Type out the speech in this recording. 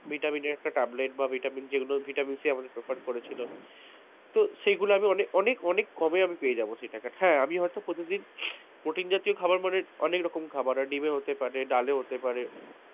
vitamin একটা tablet বা vitamin যেগুলো সে আমাকে preferred করেছিল তো সেগুলো আমি অনেক অনেক কমে আমি পেয়ে যাবো সেই টাকাটা, হ্যাঁ আমি হয়তো প্রতিদিন protine জাতীয় খাবার মানে অনেক রকম খাবার হয়, ডিমে হতে পারে ডালে হতে পারে,